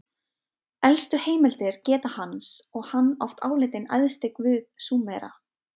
Elstu heimildir geta hans og hann oft álitinn æðsti guð Súmera.